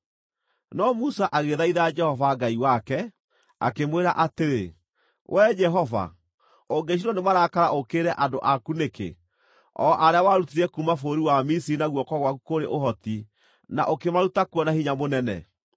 No Musa agĩthaitha Jehova Ngai wake, akĩmwĩra atĩrĩ, “Wee Jehova, ũngĩcinwo nĩ marakara ũũkĩrĩre andũ aku nĩkĩ, o arĩa warutire kuuma bũrũri wa Misiri na guoko gwaku kũrĩ ũhoti na ũkĩmaruta kuo na hinya mũnene?